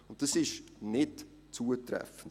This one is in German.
Dies ist nicht zutreffend.